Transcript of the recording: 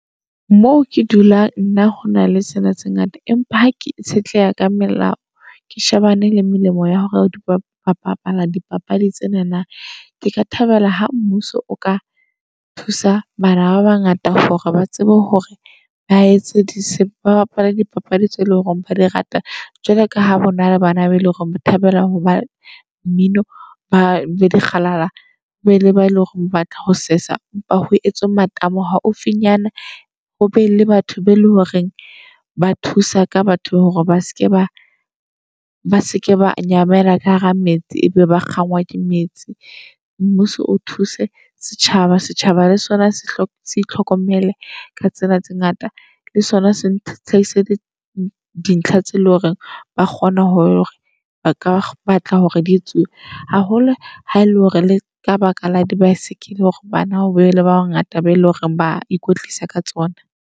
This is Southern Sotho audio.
Moo ke dulang nna ho na le tsena tse ngata. Empa ha ke itshetleha ka melao, ke shebane le melemo ya hore ba bapala dipapadi tsenana. Ke ka thabela ha mmuso o ka thusa bana ba bangata hore ba tsebe hore ba etse ba bapale dipapadi tse leng hore ba di rata. Jwalo ka ha hona le bana be le hore o thabela ho ba mmino, ba be dikgalala be le ba eleng hore o batla ho sesa. Kopa ho etswe matamo haufinyana hobe le batho be le horeng ba thusa ka batho hore ba seke ba ba seke ba nyamella ka hara metsi. E be ba kgangwa ke metsi. Mmuso o thuse setjhaba, setjhaba le sona sehlopha sale itlhokomele ka tsena tse ngata. Le sona se hlahise leseding dintlha tse leng hore ba kgona hore ba ka batla hore di etsuwe. Haholo ha ele hore le ka baka la di-bicycle hore bana be le ba bangata ba eleng hore ba ikwetlisa ka tsona.